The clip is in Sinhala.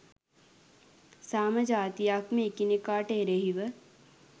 සෑම ජාතියක්ම එකිනෙකාට එරෙහිව